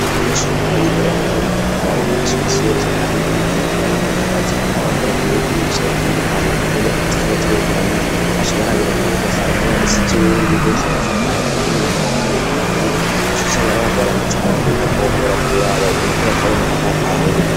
abanyeshuri ko bariga birakenga ko bamwe baraba umwigisha iminsi yose kandi nk'umugihe bariko barakora n'ikibazo birakenee kumigisha abatandukanywa kuko bibakoze ikibazo begeranye bace barabirana ugasanga mwe yanditsi ivy wundi bose ugasanga bimunaniye n'abandi birabananiye ugaca usanga n'abantu baranditse amakosa bikamugora kuraba umuntu ko yatahuye canke atatahuye.